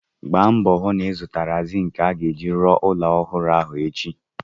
Gbaa mbọ hụ na-ịzụtara zịịnkị a ga-eji rụọ ụlọ ọhụrụ ahụ echi!